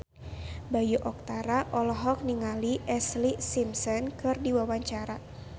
Bayu Octara olohok ningali Ashlee Simpson keur diwawancara